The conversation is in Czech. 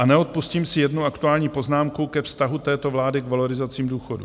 A neodpustím si jednu aktuální poznámku ke vztahu této vlády k valorizacím důchodů.